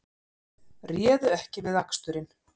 Réðu ekki við aksturinn